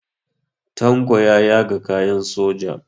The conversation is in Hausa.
Tanko ya yaga kayan soja.